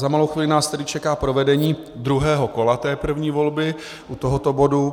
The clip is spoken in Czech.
Za malou chvíli nás tedy čeká provedení druhého kola té první volby u tohoto bodu.